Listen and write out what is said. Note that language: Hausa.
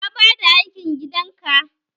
Ka bada aikin gidan ka?